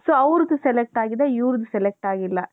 so ಅವರದ್ದು select ಆಗಿದೆ ಇವರದ್ದು select ಆಗಿಲ್ಲ